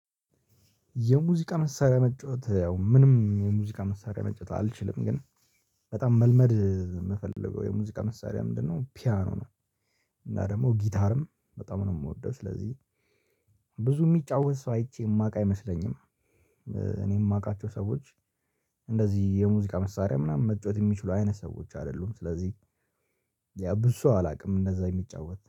የሙዚቃ መሳሪያ መጫወት ያው ምንም የሙዚቃ መሳሪያ መጫወት አልችልም። ግን በጣም መልመድ የምፈልገው የሙዚቃ መሳሪያ ምንድነው? ፒያኖ ነው፤ እና ደግሞ ጊታርም በጣም ነው የምወደው። ስለዚህ ብዙ የሚጫወት ሰው አይቼ የማውቅ አይመስለኝም። እኔ የማውቃቸው ሰዎች እንደዚህ የሙዚቃ መሳሪያ ምናምን መጫወት የሚችሉ አይነት ሰዎች አይደሉም። ስለዚህ ያ ብዙ ሰው አላውቅም እንደዛ የሚጫወት።